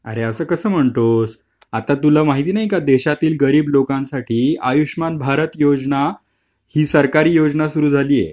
अरे असं कसं म्हणतोस आता तुला माहिती नाहीका देशातील गरीब लोकांसाठी आयुष्मान भारत योजना हि सरकारी योजना सुरु झाली आहे.